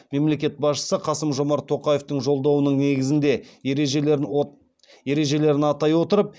мемлекет басшысы қасым жомарт тоқаевтың жолдауының негізгі ережелерін атай отырып